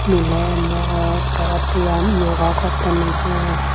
miley morot tara viyam yoga gottoney i.